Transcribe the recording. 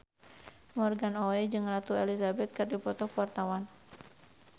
Morgan Oey jeung Ratu Elizabeth keur dipoto ku wartawan